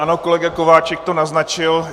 Ano, kolega Kováčik to naznačil.